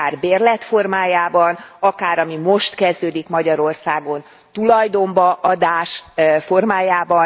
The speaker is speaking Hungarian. Akár bérlet formájában, akár ami most kezdődik Magyarországon tulajdonba adás formájában.